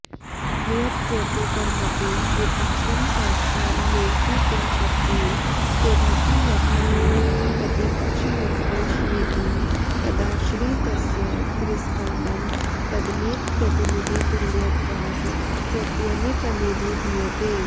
न्यक्कृतिपरमपि विपक्षं साक्षान्निरसितुमशक्तेन केनापि यत् तमेव प्रतिपक्षमुत्कर्षयितुं तदाश्रितस्य तिरस्करणम् तदनीकप्रतिनिधितुल्यत्वात् प्रत्यनीकमभिधीयते